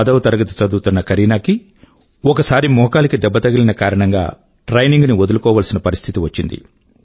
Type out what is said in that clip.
పదవ తరగతి చదువుతున్న కరీనా కి ఒకసారి మోకాలికి దెబ్బ తగిలిన కారణం గా ట్రైనింగ్ ని వదులుకోవాల్సిన పరిస్థితి వచ్చింది